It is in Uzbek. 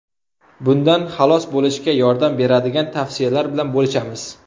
Bundan xalos bo‘lishga yordam beradigan tavsiyalar bilan bo‘lishamiz.